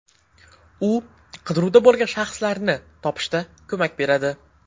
U qidiruvda bo‘lgan shaxslarni topishda ko‘mak beradi.